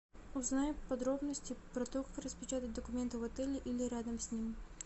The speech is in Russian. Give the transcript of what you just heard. узнай подробности про то как распечатать документы в отеле или рядом с ним